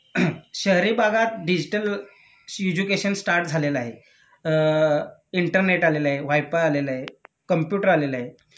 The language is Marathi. शहरी भागात डिजिटल सीजुकेशन स्टार्ट झालेलं आहे.अ इंटरनेट आलेलं आहे.वायफाय आलेलं आहे, कंप्युटर आलेलं आहे